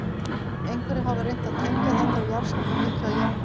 Einhverjir hafa reynt að tengja þetta við jarðskjálftann mikla í Japan.